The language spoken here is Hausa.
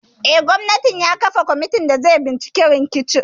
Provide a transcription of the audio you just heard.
Eh, gwamnan ya kafa kwamitin da zai binciki rikicin.